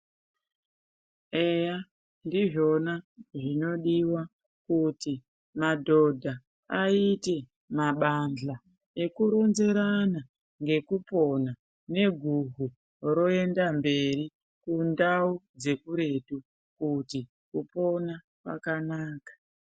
Eya ndizvona zvinodiwa kuti madhodha aite mabandla ekuronzerana ngekupona neguhu roenda mberi kundau dzekuretu kuti kupona kwakanaka.